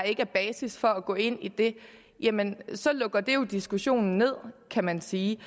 ikke er basis for at gå ind i det jamen så lukker det jo diskussionen ned kan man sige